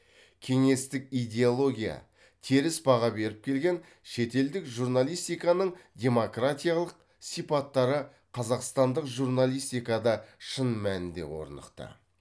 кеңестік идеология теріс баға беріп келген шетелдік журналистиканың демократиялық сипаттары қазақстандық журналистикада шын мәнінде орнықты